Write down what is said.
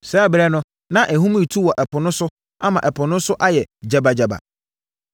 Saa ɛberɛ no na ahum retu wɔ ɛpo so ama ɛpo no so ayɛ gyabagyaba.